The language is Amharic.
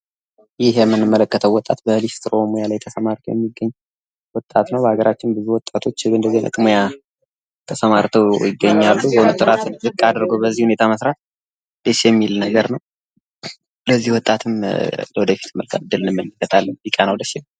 ይህ የምንመለከተው ወጣት በሊስትሪ ስራ ላይ የተሰማራ ወጣት ነው ፤ በርካታ ወጣቶች በዚህ ሙያ ላይ ተሰማርተው ይገኛሉ ፤ እራስን በዚህ ልክ ዝቅ አድርጎ መስራት በዉነቱ ደስ የሚል ነገር ነው። ለዚህ ወጣትም ወደፊት ጥሩ ነገርን እመኝለታለሁ። ቢቀናው ደስ ይለኛል።